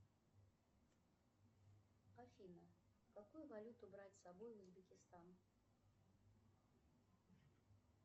афина какую валюту брать с собой в узбекистан